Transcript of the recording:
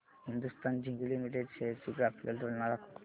Hindustan zinc limited shares ची graphical तुलना दाखव